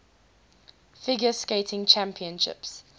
figure skating championships